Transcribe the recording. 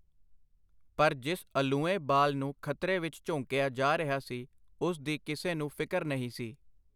ਪਰ ਜਿਸ ਅਲੂਏਂ ਬਾਲ ਨੂੰ ਖਤਰੇ ਵਿਚ ਝੋਂਕਿਆ ਜਾ ਰਿਹਾ ਸੀ ਉਸ ਦੀ ਕਿਸੇ ਨੂੰ ਫਿਕਰ ਨਹੀਂ ਸੀ.